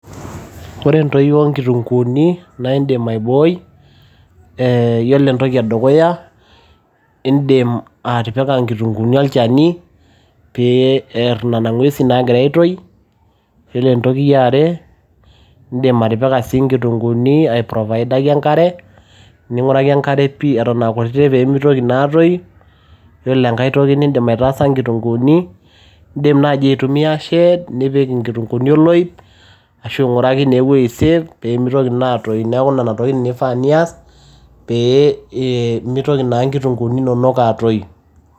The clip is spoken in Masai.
Iyiolo entoyio oo inkitunguuni naa indim aibooi, ee Iyiolo entoki edukuya naa indim atipika inkitunguuni olchani, pee ear inena ngwesi naa agira aitoi. Iyiolo entoki eare, idim atipika sii inkitunguuni, aiprovaidaki enkare, ning'uraki enkare pii eton aa kutiti pee meitoki naa aatoyu. Iyiolo enkai toki nidim aitaasa inkutunguuni naa idim naaji aitumia shade, nipik inkitunguuni oloip ashu inguraki naa eweji safe pee meitoki naa aatoyu. Neaku nena tokiti naa eifaa pee nias pee meitoki naa inkitunguuni inonok aatoyu.